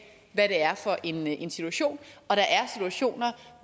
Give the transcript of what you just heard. hvad det er for en en situation og der er situationer